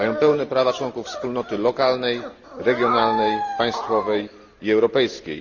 Mają pełne prawa członków wspólnoty lokalnej, regionalnej, państwowej i europejskiej.